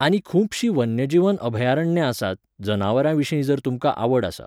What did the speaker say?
आनी खुबशीं वन्यजीव अभयारण्यां आसात, जनावरां विशीं जर तुमकां आवड आसा.